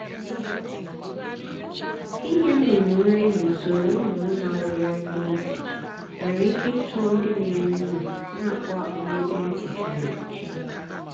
inye nnụnụ nri n’usoro nnụnụ na-awụgharị n’efu nwere ike ịchọ ndị na-eri nri na-akpụ akpụ na ebe nri kpuchiri ekpuchi.